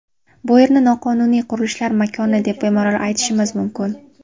Bu yerni noqonuniy qurilishlar makoni deb bemalol aytishimiz mumkin.